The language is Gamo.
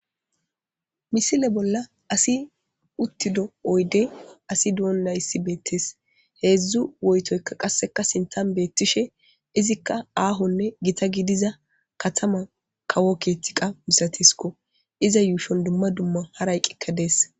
misile bolla asi uttido oyde asi du7on nayssi beettees heedzdzu woytoyka qasseka sintan beettishe izikka aahonne gita gidiza katama kawo keetiqa misatisko iza yuushon dumma dumma hara yqqikka dees